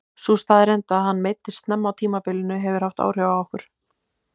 Sú staðreynd að hann meiddist snemma á tímabilinu hefur haft áhrif á okkur.